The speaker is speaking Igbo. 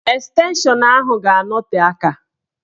Estenshọn ahụ ga-anọte aka.